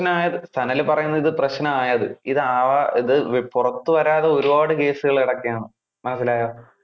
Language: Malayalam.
പ്രെശ്നം ആയതു സനൽ പറയുന്നത് ഇത് പ്രെശ്നം ആയതു. ഇത് ആവാ~ ഇത് പുറത്തു വരാതെ ഒരുപാട് case കൾ കിടക്കേണ്. മനസ്സിലായോ.